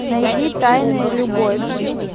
найди тайная любовь